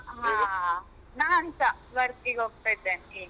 ಹಾ ನಾನ್ಸ ವರ್ಕಿಗೋಗ್ತಾ ಇದ್ದೇನೆ ಈಗ.